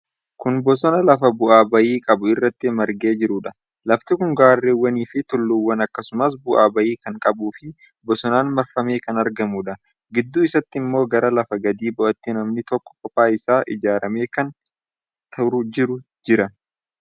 Kun bosona lafa bu'aa bayii qabu irratti margee jiruudha. Lafti kun gaarrewwanii fi tulluuwwan akkasumas bu'aa bayii kan qabuufii bosonaan marfamee kan argamudha. gidduu isatti ammoo gara lafa gadi bu'aatti manni tokko kophaa isaa ijaaramee kan jiru jira.